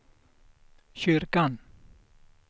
kyrkan